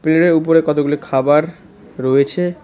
প্লেটের উপরে কতগুলি খাবার রয়েছে।